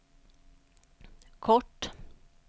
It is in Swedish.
kort